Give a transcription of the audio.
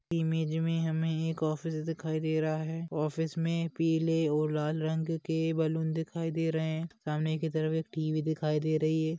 Image मे हमे एक ऑफिस दिखाई दे रहा है ऑफिस मे पीले और लाल रंग के बलून दिखाई दे रहे सामने की तरफ एक टी_वी दिखाई दे रही है।